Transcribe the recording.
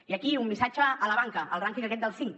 i aquí un missatge a la banca al rànquing aquest dels cinc